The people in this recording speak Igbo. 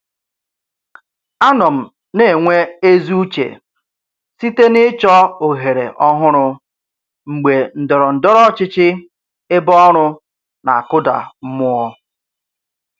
Anọ m na-enwe ezi uche site n'ịchọ ohere ọhụrụ mgbe ndọrọ ndọrọ ọchịchị ebe ọrụ na-akụda mmụọ.